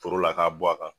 Foro la k'a bɔ a kan